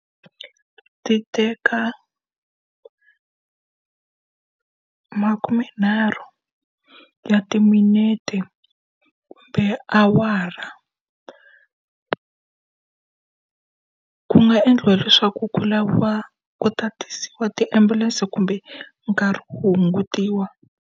Ti teka makumenharhu ya timinete kumbe awara. Ku nga endliwa leswaku ku laviwa ku tatiwa ti ambulense kumbe nkarhi hungutiwa.